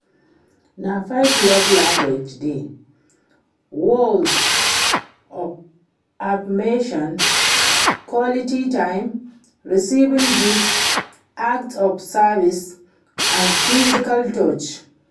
Na five love languages dey: words of affirmation, quality time, receiving gifts, acts of service and physical touch.